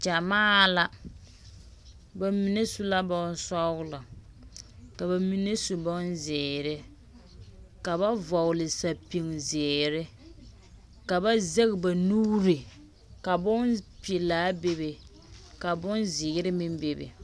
Gyamaa la, ba mine su la bonsͻgelͻ, ka ba mine su bonzeere, ka ba vͻgele sapigizeere. Ka ba zԑge ba nuuri ka bompelaa bebe ka bonzeere meŋ bebe.